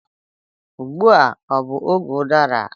Ugbu a ọ bụ oge udara?